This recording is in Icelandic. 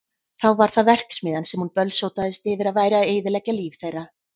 Þá var það verksmiðjan sem hún bölsótaðist yfir að væri að eyðileggja líf þeirra.